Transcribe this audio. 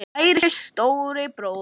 Kæri stóri bróðir minn.